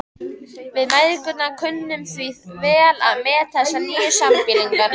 Við mæðgur kunnum því vel að meta þessa nýju sambýlinga.